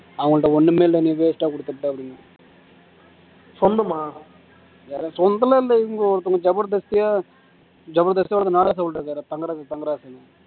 அவங்கள்ட்ட ஒண்ணுமே இல்லை நீ waste ஆ கொடுத்துட்ட அப்படின்னு சொல்லுமா வேற சொந்தமெல்லாம் இல்லை இவங்க ஒருத்தவங்க ஒருத்தன் நாகராஜ் அவர்கள் தங்கராஜ் தங்கராசுன்னு